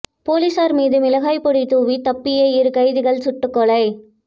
போலீசார் மீது மிளகாய் பொடி தூவி தப்பிய இரு கைதிகள் சுட்டு கொலை